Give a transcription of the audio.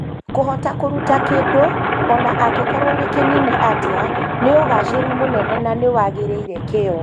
Kũhota kũruta kĩndũ, o na angĩkorũo nĩ kĩnini atĩa, nĩ ũgaacĩru mũnene na nĩ wagĩrĩire kĩyo.